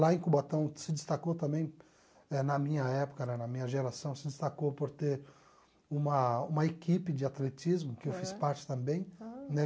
Lá em Cubatão se destacou também, eh na minha época, na minha geração, se destacou por ter uma uma equipe de atletismo, que eu fiz parte também, né?